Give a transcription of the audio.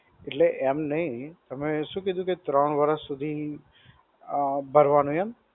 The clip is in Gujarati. એટલે એમ નહિ, તમે શું કીધું કે ત્રણ વર્ષ સુધી અ ભરવાનું એમ?